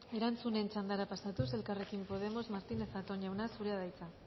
erantzunen txandara pasatuz elkarrekin podemos martínez zatón jauna zurea da hitza